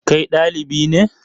Kai ɗalibi ne?